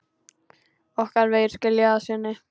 Okkar vegir skilja að sinni.